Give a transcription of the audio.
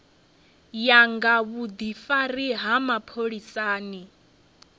ya nga vhudifari ha mapholisani